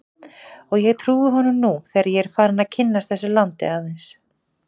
Og ég trúi honum nú þegar ég er farinn að kynnast þessu landi aðeins.